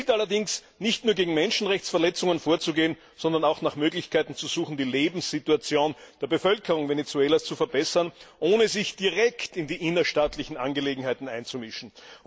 Es gilt allerdings, nicht nur gegen Menschenrechtsverletzungen vorzugehen, sondern auch nach Möglichkeiten zu suchen, die Lebenssituation der Bevölkerung Venezuelas zu verbessern, ohne sich direkt in die innerstaatlichen Angelegenheiten einzumischen.